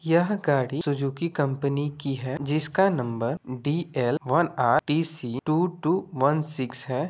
यह गाड़ी Suzuki company की है जिसका number D L one R T C two two one six है।